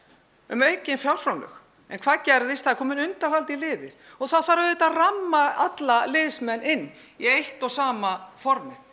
um aukin fjárframlög en hvað gerðist það eru komnir undanhaldnir liðir og það þarf að ramma alla liðsmenn inn í eitt og sama formið